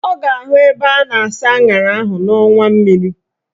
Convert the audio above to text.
Ọ ga-ahụ ebe a na-asa aṅara ahụ n'ọnwa mmiri